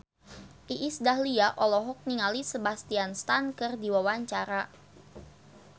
Iis Dahlia olohok ningali Sebastian Stan keur diwawancara